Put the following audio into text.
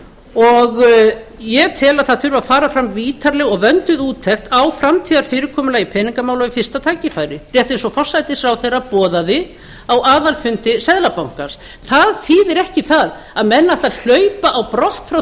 og ég tel að það þurfi að fara fram ítarleg og vönduð úttekt á framtíðarfyrirkomulagi peningamála við fyrsta tækifæri rétt eins og forsætisráðherra boðaði á aðalfundi seðlabankans það þýðir ekki það að menn ætli að hlaupa á brott frá